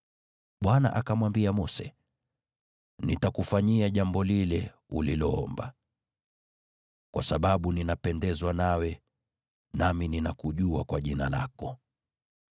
Bwana akamwambia Mose, “Nitakufanyia jambo lile uliloomba, kwa sababu ninapendezwa nawe, nami ninakujua kwa jina lako.”